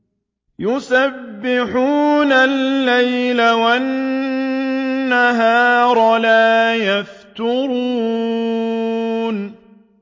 يُسَبِّحُونَ اللَّيْلَ وَالنَّهَارَ لَا يَفْتُرُونَ